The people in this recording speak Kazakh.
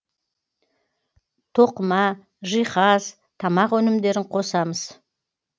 тоқыма жиһаз тамақ өнімдерін қосамыз